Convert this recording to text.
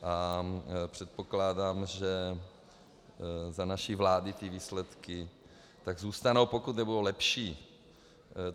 A předpokládám, že za naší vlády ty výsledky tak zůstanou, pokud nebudou lepší.